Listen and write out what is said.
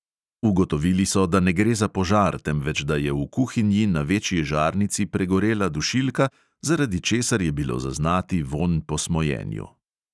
Ugotovili so, da ne gre za požar, temveč da je v kuhinji na večji žarnici pregorela dušilka, zaradi česar je bilo zaznati vonj po smojenju.